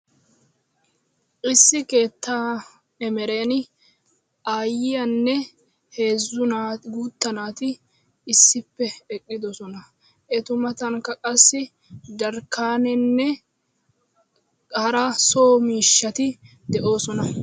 Issi keettaa emereen aayiyanne heezzu naati guuttaa naati issippe eqqiddossona. Etu matankka qassi jarkkaanenne hara so miishshaati de'oosona.